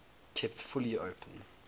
kept fully open